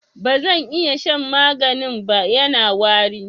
Ba zan iya shan maganin nan ba, Yana wari.